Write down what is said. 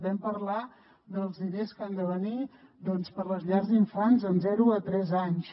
vam parlar dels diners que han de venir per les llars d’infants de zero a tres anys